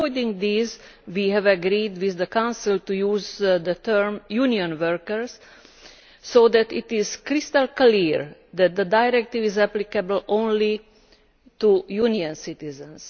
Avoiding this, we have agreed with the Council to use the term Union workers' so that it is crystal clear that the directive is applicable only to Union citizens.